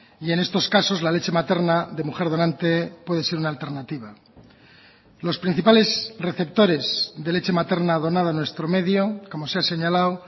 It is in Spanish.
y en estos casos la leche materna de mujer donante puede ser una alternativa los principales receptores de leche materna donada a nuestro medio como se ha señalado